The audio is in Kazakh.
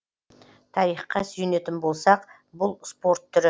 тарихқа сүйенетін болсақ бұл спорт түрі